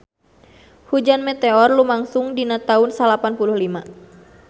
Hujan meteor lumangsung dina taun salapan puluh lima